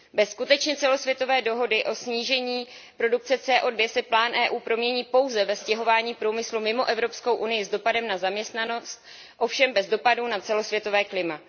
Bez skutečně celosvětové dohody o snížení produkce CO 2 se plán Evropské unie promění pouze ve stěhování průmyslu mimo Evropskou unii s dopadem na zaměstnanost, ovšem bez dopadu na celosvětové klima.